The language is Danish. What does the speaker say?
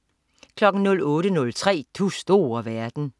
08.03 Du store verden